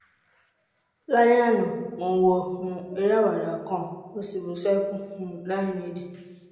lálẹ́ àná mo ń wo um eré àwàdà kan mo sì bú sẹ́kún um láìnídìí